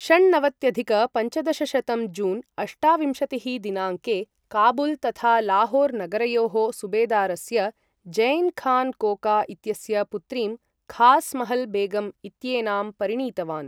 षण्णवत्यधिक पञ्चदशशतं जून् अष्टाविंशतिः दिनाङ्के, काबुल् तथा लाहोर् नगरयोः सुबेदारस्य ज़ैन् खान् कोका इत्यस्य पुत्रीं खास् महल् बेगम् इत्येनां परिणीतवान्।